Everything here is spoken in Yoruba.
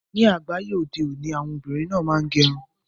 Ni agbaye ode oni, awọn obinrin naa ń gẹ́ irun wọn.